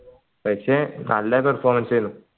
പക്ഷേ നല്ല performance എനു